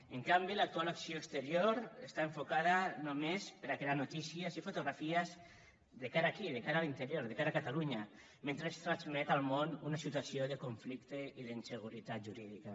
en canvi l’actual acció exterior està enfocada només per crear notícies i fotografies de cara aquí de cara a l’interior de cara a catalunya mentre es transmet al món una situació de conflicte i d’inseguretat jurídica